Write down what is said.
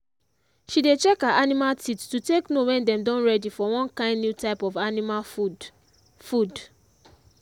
she dey check her animal teeth to take know wen dem don ready for one kind new type of animal food. food.